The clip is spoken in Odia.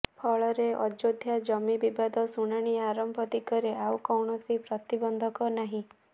ଫଳରେ ଅଯୋଧ୍ୟା ଜମି ବିବାଦ ଶୁଣାଣି ଆରମ୍ଭ ଦିଗରେ ଆଉ କୌଣସି ପ୍ରତିବନ୍ଧକ ନାହିଁ